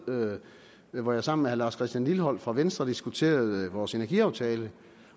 møde hvor jeg sammen med herre lars christian lilleholt fra venstre diskuterede vores energiaftale